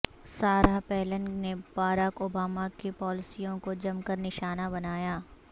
Sara Palin نے Barack Obama کی پالیسیوں کو جم کر نشانہ بنایا